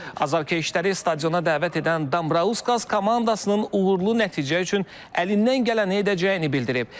Azarkeşləri stadiona dəvət edən Dambrauskas komandasının uğurlu nəticə üçün əlindən gələni edəcəyini bildirib.